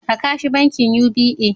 Raka shi bankin UBA